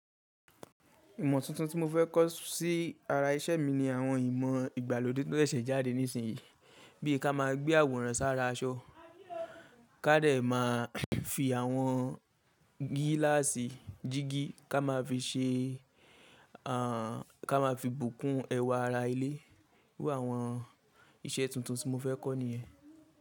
Ìmọ̀ tuntun tí mo fẹ́ kọ́ sí ara iṣẹ́ mi ni àwọn ìmọ̀ ìgbàlódé tó ṣẹ̀ṣẹ̀ jáde nísìnyí. Bí i ká máa gbé àwòrán sára aṣọ, ká dè máa fi àwọn gíláàsì jíìgì ka maa fi se ká máa fi bùkún ẹwà ara ilé. Iru àwọn iṣẹ́ tuntun tí mo fẹ́ kọ́ nìyẹn.